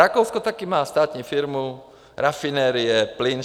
Rakousko taky má státní firmu - rafinerie, plyn.